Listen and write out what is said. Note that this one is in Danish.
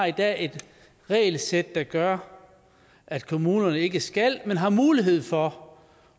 i dag har et regelsæt der gør at kommunerne ikke skal men har mulighed for